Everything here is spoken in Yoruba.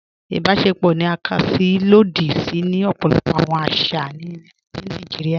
Ìbàṣẹ̀pọ̀ ni à ká sí ilòdì sí ni ọpọlọpọ̀ awọn àṣà ni Naijíríà.